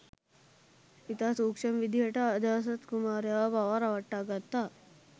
ඉතා සූක්ෂම විදිහට අජාසත් කුමාරයාව පවා රවට්ටා ගත්තා